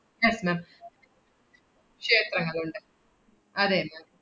yes ma'am ക്ഷേത്രങ്ങളുണ്ട് അതെ ma'am